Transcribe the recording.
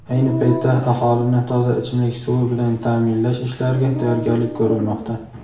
Ayni paytda aholini toza ichimlik suvi bilan ta’minlash ishlariga tayyorgarlik ko‘rilmoqda.